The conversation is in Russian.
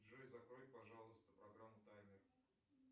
джой закрой пожалуйста программу таймер